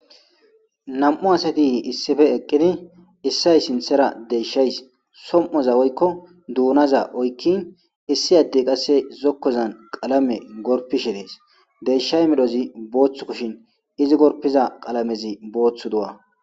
nam7u asatihi issife eqqidi issay sintera deshays som7oza woykko duunaza oykkin issi addey qasse zokkozan qalame gorpishe dees deyshay medhozi booththu kushin izi gorpiza qalamezi booththu du7a